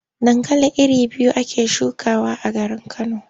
Dankali iri biyu ake shukawa a garin Kano.